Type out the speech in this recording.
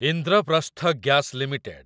Indraprastha gas limited